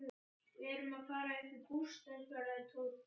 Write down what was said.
Við erum að fara upp í sumarbústað svaraði Tóti.